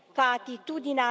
aici,